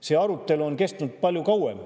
See arutelu on kestnud palju kauem.